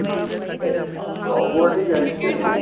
Robotick action.